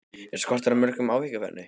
Er skortur á mörkum áhyggjuefni?